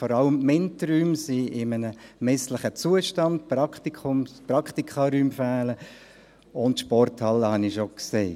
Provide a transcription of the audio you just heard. Vor allem sind die MINT-Räume in einem misslichen Zustand, die Praktikaräume fehlen, und die Sporthalle habe ich schon erwähnt.